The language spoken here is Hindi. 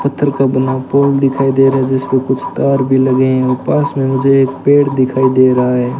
पत्थर का बना पोल दिखाई दे रहा है जिसपे कुछ तार भी लगे हैं और पास में मुझे एक पेड़ दिखाई दे रहा है।